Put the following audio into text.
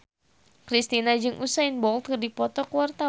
Kristina jeung Usain Bolt keur dipoto ku wartawan